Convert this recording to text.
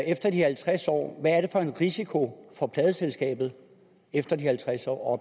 efter de halvtreds år hvad er det for en risiko for pladeselskaberne efter de halvtreds år og